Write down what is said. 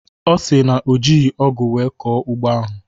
Ọ si na o jighị ọgụ wee kọọ ugbo ahụ